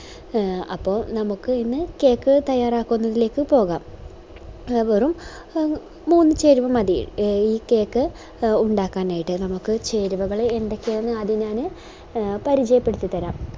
ആഹ് അപ്പൊ നമുക്ക് ഇന്ന് cake തയ്യാറാക്കുന്നതിലേക്ക് പോവാം വെറും മൂന്ന് ചേരുവ മതി നമുക്ക് ആഹ് ഈ cake ഉണ്ടാക്കാനായിട്ട് നമുക്ക് ചേരുവകള് എന്തോക്കെയാന്ന് ആദ്യം ഞാന് പരിചയപ്പെടുത്തി തരാം